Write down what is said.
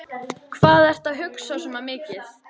Hvað ertu að hugsa svona mikið?